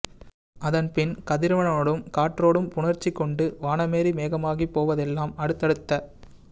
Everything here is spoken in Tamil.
அதன்பின் கதிரவனோடும் காற்றோடும் புணர்ச்சி கொண்டு வானமேறி மேகமாகிப் போவதெல்லாம் அடுத்தடுத்த